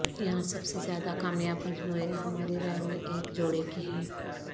یہاں سب سے زیادہ کامیاب مجموعے ہماری رائے میں ایک جوڑے کی ہیں